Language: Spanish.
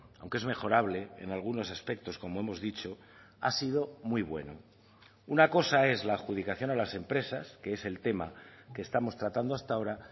aunque es mejorable en algunos aspectos como hemos dicho ha sido muy bueno una cosa es la adjudicación a las empresas que es el tema que estamos tratando hasta ahora